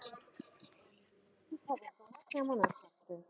কি খবর তোমার, কেমন আছো?